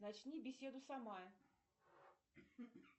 начни беседу сама